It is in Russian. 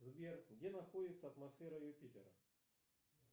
сбер где находится атмосфера юпитера